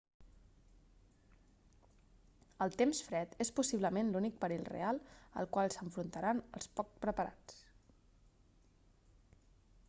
el temps fred és possiblement l'únic perill real al qual s'enfrontaran els poc preparats